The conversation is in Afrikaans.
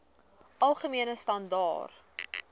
algemene standaar